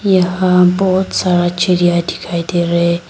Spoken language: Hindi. यहां बहुत सारा चिरिया दिखाई दे रहे--